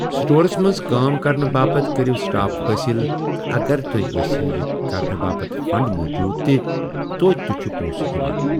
سٹورَس منٛز کٲم کرنہٕ باپتھ کٔرِو سٹاف حٲصِل تہٕ اگر تۄہہِ آسٮ۪و یہِ کرنہٕ باپتھ فنڈ موٗجوٗد تہِ توٚتہِ تہِ چھِ پۄنٛسہٕ یِوان۔